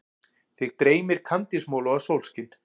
Þig dreymir kandísmola og sólskin.